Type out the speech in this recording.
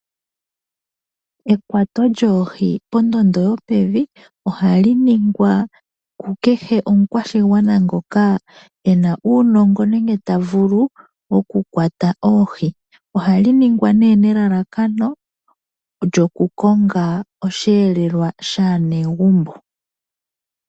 Ekwato lyoohi pondondo yopevi, ohali nigwa kukehe omukwashigwana ngoka ena uunongo, nenge ta vulu oku kwata oohi. Ohali ningwa nelalakano lyoku konga osheelelwa shaanegumbo.